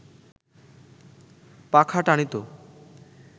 পাখা টানিত